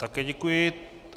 Také děkuji.